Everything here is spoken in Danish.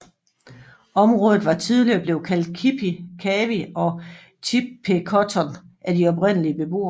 Området var tidligere blevet kaldt Kipi Kawi og Chippecotton af de oprindelige beboere